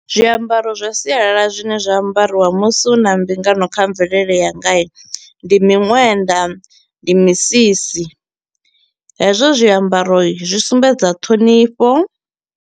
Zwiambaro zwa sialala zwine zwa ambariwa musi hu na mbingano kha mvelele yanga i, ndi miṅwenda ndi misisi. Hezwo zwiambaro zwi sumbedza ṱhonifho.